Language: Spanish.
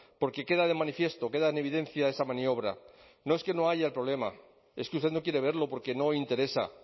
porque queda de manifiesto queda en evidencia esa maniobra no es que no haya el problema es que usted no quiere verlo porque no interesa